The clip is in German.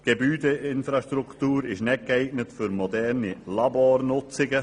Die Gebäudeinfrastruktur ist nicht geeignet für moderne Labornutzungen.